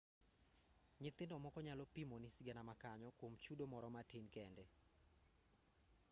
nyithindo moko nyalo pimoni sigana ma kanyo kuom chudo moro matin kende